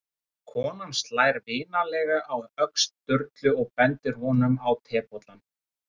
Og konan slær vinalega á öxl Sturlu og bendir honum á tebollann.